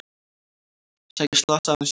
Sækja slasaðan sjómann